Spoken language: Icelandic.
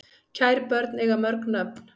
Kær börn eiga mörg nöfn